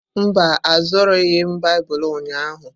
Mba, azụrụghị m Baịbụl ụnyahụ.